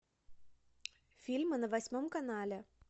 фильмы на восьмом канале